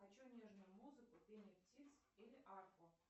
хочу нежную музыку пение птиц или арфу